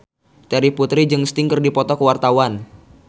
Terry Putri jeung Sting keur dipoto ku wartawan